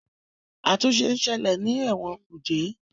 àtúnṣe nṣele ní Ewon kuje.